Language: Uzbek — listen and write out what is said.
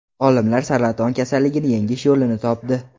Olimlar saraton kasalligini yengish yo‘lini topdi.